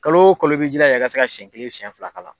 Kalo o kalo i bɛ jilaja i ka se ka siyɛn kelen siyɛn fila k'a la.